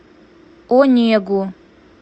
онегу